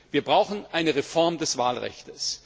Wir brauchen eine Reform des Wahlrechts.